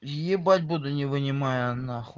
ебать буду не вынимая на хуй